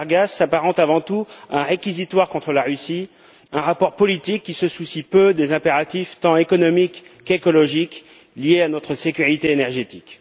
Saudargas s'apparente avant tout à un réquisitoire contre la Russie, un rapport politique qui se soucie peu des impératifs tant économiques qu'écologiques liés à notre sécurité énergétique.